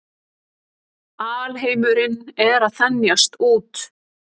Alheimurinn er að þenjast út.